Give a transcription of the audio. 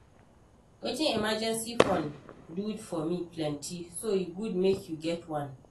Wetin emergency fund dey do for me plenty so e good make you get one